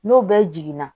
N'o bɛɛ jiginna